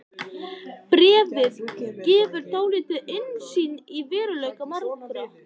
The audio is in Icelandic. Bréfið gefur dálitla innsýn í veruleika margra.